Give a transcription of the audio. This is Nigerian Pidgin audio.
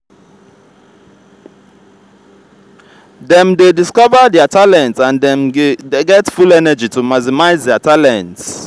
dem de discover their talent and dem get full energy to maximise their talents